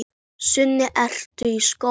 Sunna: Ertu í skóla?